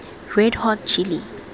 red hot chili